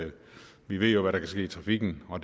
vi ved jo netop hvad der kan ske i trafikken og